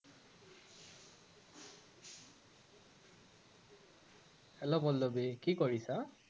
Hello Pallavi, কি কৰিছা?